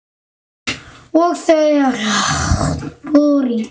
Og þau öll.